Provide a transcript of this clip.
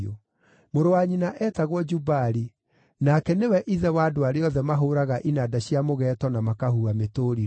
Mũrũ-wa nyina eetagwo Jubali; nake nĩwe ithe wa andũ arĩa othe mahũũraga inanda cia mũgeeto na makahuha mĩtũrirũ.